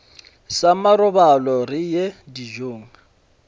sa marobalo re ye dijong